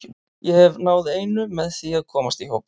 Ég hef náð einu með því að komast í hópinn.